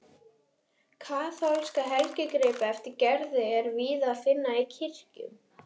Kaþólska helgigripi eftir Gerði er víða að finna í kirkjum.